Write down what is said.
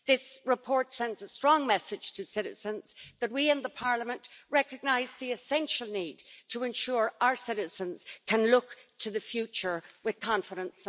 This report sends a strong message to citizens that we in the Parliament recognise the essential need to ensure that our citizens can look to the future with confidence.